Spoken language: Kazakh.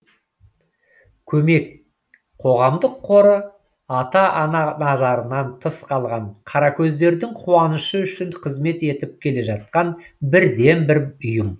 көмек қоғамдық қоры ата ана назарынан тыс қалған қаракөздердің қуанышы үшін қызмет етіп келе жатқан бірден бір ұйым